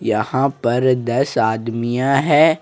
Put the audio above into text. यहां पर दस आदमियां है।